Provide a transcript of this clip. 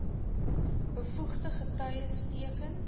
bevoegde getuies teken